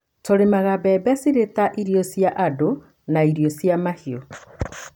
Tũrĩmaga mbembe cirĩ ta irio cia andũ na irio cia mahiũ